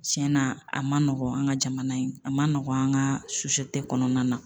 Cɛnna a ma nɔgɔn an ka jamana in a ma nɔgɔ an ka in kɔnɔna na